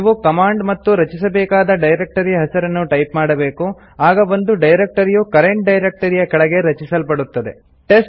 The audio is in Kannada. ನೀವು ಕಮಾಂಡ್ ಮತ್ತು ರಚಿಸಬೇಕಾದ ಡೈರೆಕ್ಟರಿಯ ಹೆಸರನ್ನು ಟೈಪ್ ಮಾಡಬೇಕು ಆಗ ಒಂದು ಡೈರೆಕ್ಟರಿಯು ಕರೆಂಟ್ ಡೈರೆಕ್ಟರಿಯ ಕೆಳಗೆ ರಚಿಸಲ್ಪಡುತ್ತದೆ